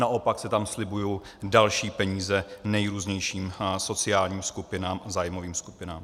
Naopak se tam slibují další peníze nejrůznějším sociálním skupinám a zájmovým skupinám.